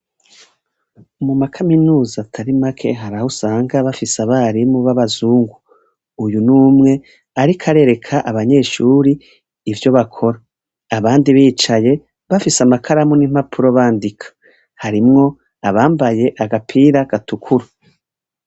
Mu ma kaminuza atari make haraho usanga bafise abarimu b' abazungu. Uyu n' umwe ariko arereka abanyeshuri ivyo bakora. Abandi bicaye, bafise amakaramu n' impapuro bandika. Harimwo abambaye agapira gatukura.